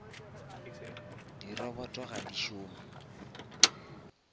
di robot ga di šome